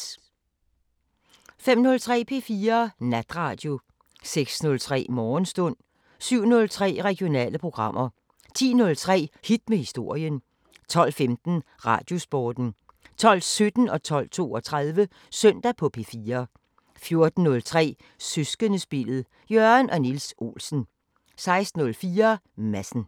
05:03: P4 Natradio 06:03: Morgenstund 07:03: Regionale programmer 10:03: Hit med historien 12:15: Radiosporten 12:17: Søndag på P4 12:32: Søndag på P4 14:03: Søskendespillet: Jørgen og Niels Olsen 16:04: Madsen